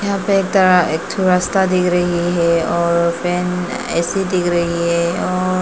एक ठो रास्ता दिख रही है और फैन ए_सी दिख रही है औ--